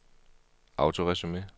autoresume